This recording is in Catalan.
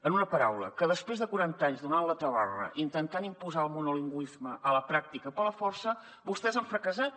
en una paraula que després de quaranta anys donant la tabarra intentant imposar el monolingüisme a la pràctica per la força vostès han fracassat